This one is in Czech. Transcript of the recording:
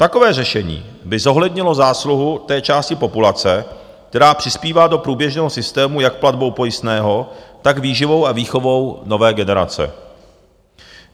Takové řešení by zohlednilo zásluhu té části populace, která přispívá do průběžného systému jak platbou pojistného, tak výživou a výchovou nové generace.